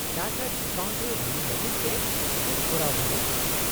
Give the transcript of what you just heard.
-ᱪᱟᱴᱟᱨᱴ account ᱨᱮ ᱦᱩᱭᱩᱜ ᱞᱟᱹᱜᱤᱫ ᱛᱮ ᱪᱮᱫ ᱠᱚᱨᱟᱣ ᱦᱩᱭᱩᱜᱼᱟ ?